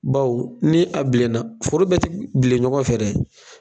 Baw ni a bilenna foro bɛ ti bilen ɲɔgɔn fɛ dɛ